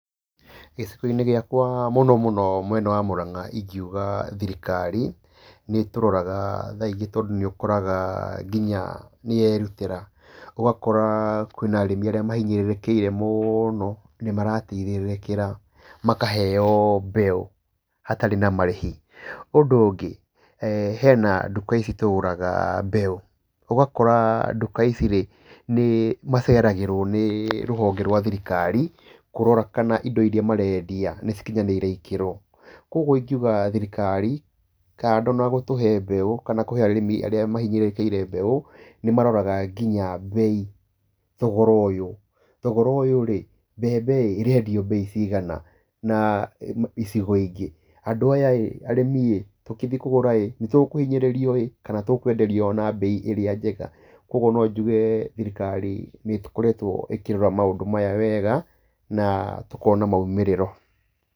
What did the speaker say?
Gĩcigo-inĩ gĩakwa mũno mũno mwena wa Murang'a ingiuga thirikari, nĩ tũroraga thaa ingĩ tondũ nĩ ũkoraga nginya nĩyerutĩra. Ũgakora kwĩna arĩmi arĩa mahinyĩrĩrĩkĩire mũno nĩ marateitherĩrĩkĩra makaheo mbeũ hatarĩ na marĩhi. Ũndũ ũngĩ, hena nduka ici tũgũraga mbeũ, ũgakora nduka icirĩ nĩ maceragĩrwo nĩ rũhonge rwa thirikari kũrora kana indo iria marendia nĩ cikinyanĩire ikĩro. Koguo ingiuga thirikari kando na gũtũhe mbeũ kana kũhe arĩmi arĩa mahinyĩrĩrĩkĩire mbeũ, nĩ maroraga nginya bei, thogora ũyũ. Thogora ũyũ rĩ, mbembe ĩ, ĩrendio bei cigana na icigo ingĩ? Andu ayarĩ arĩmiĩ tugĩthiĩ kũgũra ĩ, nĩ tũkũhinyĩrĩrio ĩ kana tũkwenderio na bei ĩria njega? Koguo no njũge thirikari nĩ tũkoretwo ĩkĩrora maũndũ maya wega, na tũkona maumirĩro.